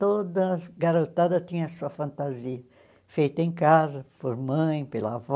Toda garotada tinha a sua fantasia feita em casa, por mãe, pela avó.